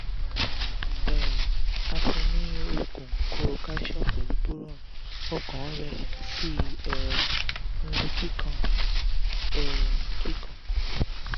um a fun un ní oogun koro calcium pẹ̀lú boron ọkàn rẹ̀ sì um ń lù kikan um kikan